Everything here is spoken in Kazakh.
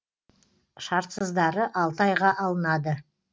шартсыздары алты айға алынады